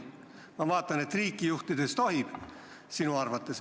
Ma vaatan, et riiki juhtides tohib – sinu arvates.